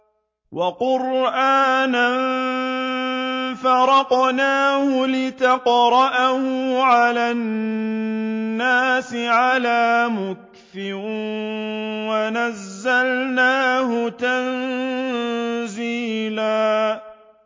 وَقُرْآنًا فَرَقْنَاهُ لِتَقْرَأَهُ عَلَى النَّاسِ عَلَىٰ مُكْثٍ وَنَزَّلْنَاهُ تَنزِيلًا